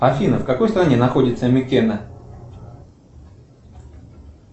афина в какой стране находится микена